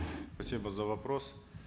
спасибо за вопрос